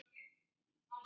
Elma- sagði hann.